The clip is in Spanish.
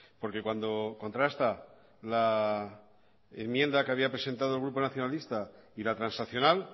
porque cuando contrasta la enmienda que había presentado el grupo nacionalista y la transaccional